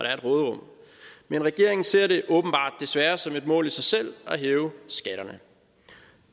er et råderum men regeringen ser det åbenbart desværre som et mål i sig selv at hæve skatterne